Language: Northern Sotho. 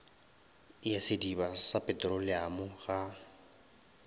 ya sediba sa petroleamo ga